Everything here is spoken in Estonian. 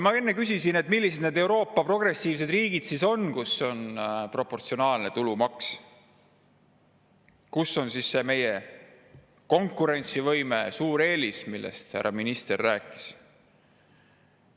" Ma enne küsisin, millised need progressiivsed Euroopa riigid on, kus on proportsionaalne tulumaks, mis on meie konkurentsivõime suur eelis, härra minister rääkis.